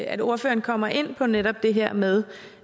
at ordføreren kommer ind på netop det her med